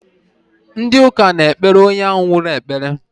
Ndi uka na ekpele onye ahu nwuru ekpere